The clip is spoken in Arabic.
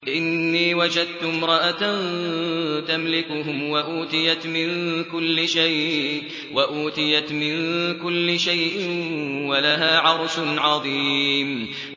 إِنِّي وَجَدتُّ امْرَأَةً تَمْلِكُهُمْ وَأُوتِيَتْ مِن كُلِّ شَيْءٍ وَلَهَا عَرْشٌ عَظِيمٌ